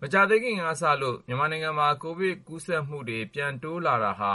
မကြာသေးခင်ကစလို့ ကိုဗစ်ရောဂါ ကူးစက်မှုတွေ တိုးလာနေတာဟာ